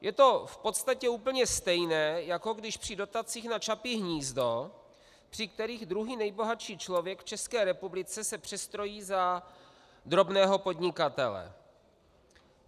Je to v podstatě úplně stejné, jako když při dotacích na Čapí hnízdo, při kterých druhý nejbohatší člověk v České republice se přestrojí za drobného podnikatele.